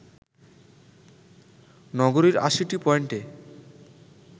নগরীর ৮০টি পয়েন্টে